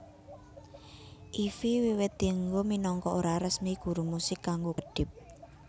Ify wiwit dienggo minangka ora resmi guru musik kanggo kedhip